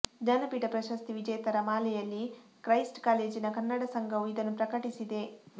ಜ್ಞಾನಪೀಠ ಪ್ರಶಸ್ತಿ ವಿಜೇತರ ಮಾಲೆಯಲ್ಲಿ ಕ್ರೈಸ್ಟ್ ಕಾಲೇಜಿನ ಕನ್ನಡ ಸಂಘವು ಇದನ್ನು ಪ್ರಕಟಿಸಿದೆ